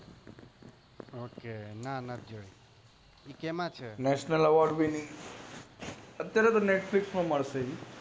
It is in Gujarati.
ઓક નથી જોયી એ કેમ છે અટાયરે તો netflix માં મળશે